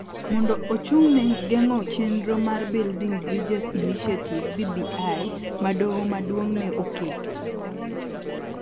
mondo ochung� ne geng�o chenro mar Building Bridges Initiative (BBI) ma Doho Maduong� ne oketo,